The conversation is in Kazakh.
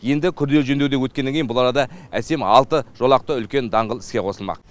енді күрделі жөндеуден өткеннен кейін бұл арада әсем алты жолақты үлкен даңғыл іске қосылмақ